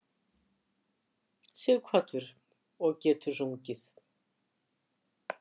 Sighvatur: Og getur sungið?